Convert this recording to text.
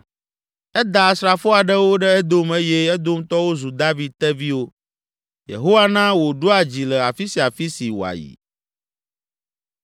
Eda asrafo aɖewo ɖe Edom eye Edomtɔwo zu David teviwo. Yehowa na wòɖua dzi le afi sia afi si wòayi.